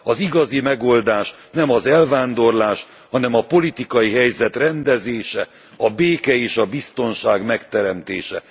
Az igazi megoldás nem az elvándorlás, hanem a politikai helyzet rendezése, a béke és a biztonság megteremtése.